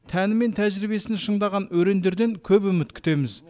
тәні мен тәжірибесін шыңдаған өрендерден көп үміт күтеміз